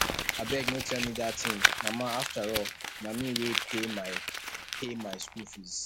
abeg no tell me dat thing mama afterall na me wey pay my pay my school fees